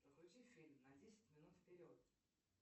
прокрути фильм на десять минут вперед